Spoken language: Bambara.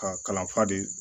Ka kalan fa de